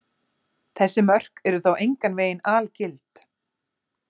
Þessi mörk eru þó engan veginn algild.